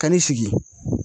Ka n'i sigi.